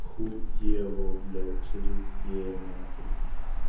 хуёво блядь через е на хуй